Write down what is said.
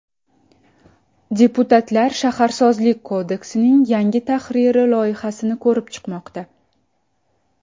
Deputatlar Shaharsozlik kodeksining yangi tahriri loyihasini ko‘rib chiqmoqda.